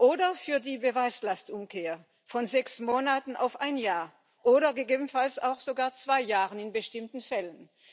oder für die Beweislastumkehr von sechs Monaten auf ein Jahr oder gegebenenfalls auch sogar zwei Jahren in bestimmten Fällen.